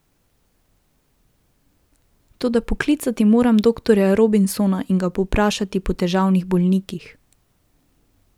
Toda poklicati moram doktorja Robinsona in ga povprašati po težavnih bolnikih.